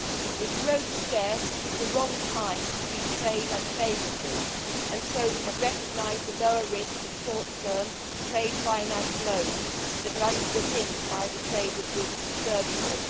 With growth scarce, it is the wrong time to treat trade unfavourably, so we have recognised the lower risk of short term trade finance loans that are underpinned by the trade of goods and services.